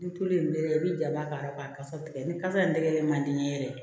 Ni tulu in bɛ yen i bɛ jaba k'a la k'a kasa tigɛ ni kasa in tɛgɛ man di n ye yɛrɛ